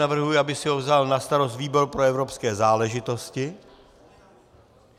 Navrhuji, aby si ho vzal na starost výbor pro evropské záležitosti.